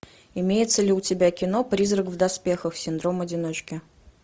имеется ли у тебя кино призрак в доспехах синдром одиночки